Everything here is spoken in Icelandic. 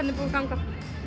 búið að ganga